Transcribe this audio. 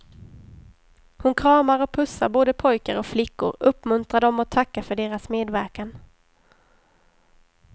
Hon kramar och pussar både pojkar och flickor, uppmuntrar dem och tackar för deras medverkan.